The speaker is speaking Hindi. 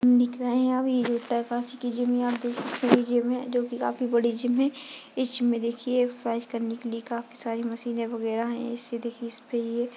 दिख रहे यहाँ पे ये उत्तरकाशी के जिम आप देख सकते हैं ये जिम है जो की काफी बड़ी जिम है इस जिम में देखिये एक्मेंसेर्सिस करने के लिए काफी सारी मशीने वगेरा है इससे देखिये इसपे ये --